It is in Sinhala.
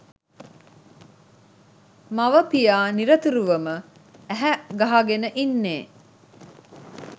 මව පියා නිරුතුරුවම ඇහැ ගහගෙන ඉන්නෙ